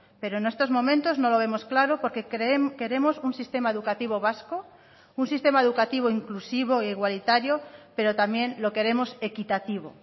pero en estos momentos no lo vemos claro porque queremos un sistema educativo vasco un sistema educativo inclusivo e igualitario pero también lo queremos equitativo